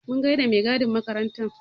Mun gaida da mai gadin makarantar.